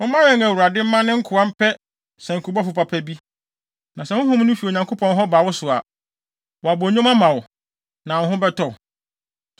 Momma yɛn Awurade mma ne nkoa mpɛ sankubɔfo papa bi, na sɛ honhom no fi Onyankopɔn hɔ ba wo so a, wabɔ nnwom ama wo, na wo ho bɛtɔ wo.”